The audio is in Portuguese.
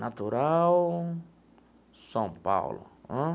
Natural, São Paulo.